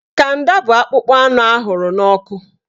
Kanda bụ akpụkpọ anụ ahụrụ n'ọkụ